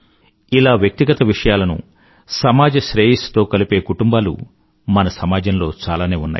ఇలా వ్యక్తిగత విషయలను సమాజ శ్రేయస్సు తో కలిపే కుటుంబాలు మన సమాజంలో చాలానే ఉన్నాయి